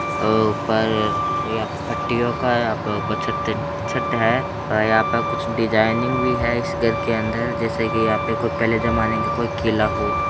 अ-ऊपर यहाँ पे पट्टियों का यहाँं पे ऊपर छत छट है और यहाँं पर कुछ डिज़ाइनिंग भी है इस घर के अन्दर जैसे कि यहाँं पे कोई पहले जमाने की कोई किला हो।